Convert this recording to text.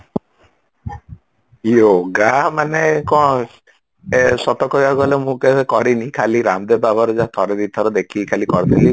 yoga ମାନେ କଣ ଏ ସତ କହିବାକୁ ଗଲେ ମୁଁ କେବେ କାରିଣୀ ଖାଲି ରାମଦେବ ବାବାରା ଥରେ ଦିଥର ଦେଖିକି କରିଥିଲି